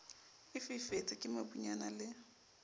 e fifetse ke mobunyana le